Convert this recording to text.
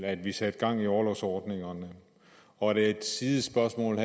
at vi satte gang i orlovsordningerne og et sidespørgsmål